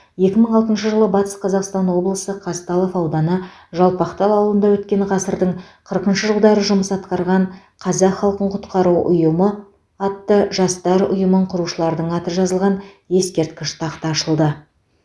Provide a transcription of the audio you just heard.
екі мың алтыншы жылы батыс қазақстан облысы қазталов ауданы жалпақтал ауылында өткен ғасырдың қырқыншы жылдары жұмыс атқарған қазақ халқын құтқару ұйымы атты жастар ұйымын құрушылардың аты жазылған ескерткіш тақта ашылды